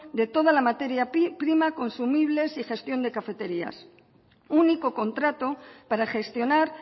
de toda la materia prima consumible y gestión de cafeterías único contrato para gestionar